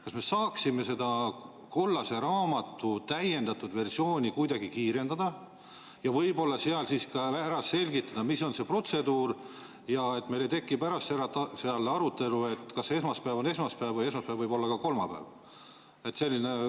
Kas me saaksime selle kollase raamatu täiendatud versiooni kuidagi kiirendada ja seal võib-olla ka selgitada, mis on see protseduur, et meil ei tekiks pärast arutelu, kas esmaspäev on esmaspäev või kas esmaspäev võib olla ka kolmapäev?